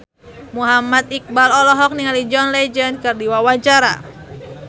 Muhammad Iqbal olohok ningali John Legend keur diwawancara